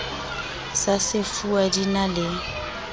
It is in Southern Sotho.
sa sefuwa di na le